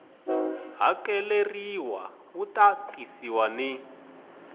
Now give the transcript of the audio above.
hakeleriwa wu ta tisiwa ni